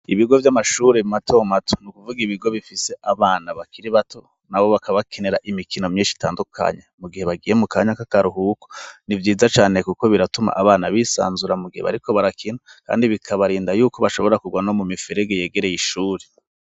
Ibigo vy'amashure mato mato ni ukuvuga ibigo bifise abana bakiri bato, nabo bakaba bakenera imikino myinshi itandukanye, mu gihe bagiye mu kanya k'akaruhuko; ni vyiza cane kuko biratuma abana bisanzura mu gihe bariko barakina, kandi bikabarinda yuko bashobora kugwa no mu miferege yegereye ishuri.